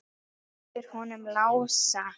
Yfir honum Lása?